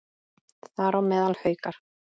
Þar á meðal Haukar.